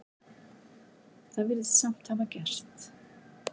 Það virðist samt hafa gerst.